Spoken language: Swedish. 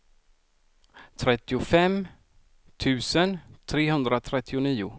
trettiofem tusen trehundratrettionio